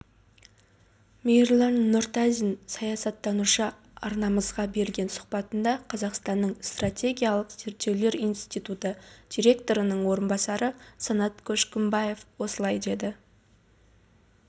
мейірлан нұртазин саясаттанушы арнамызға берген сұхбатында қазақстанның стратегиялық зерттеулер институты директорының орынбасары санат көшкімбаев осылай деді